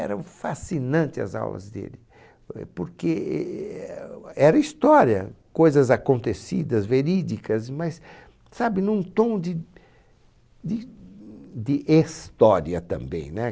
Eram fascinante as aulas dele, eh, porque era história, coisas acontecidas, verídicas, mas, sabe, num tom de de de estória também, né?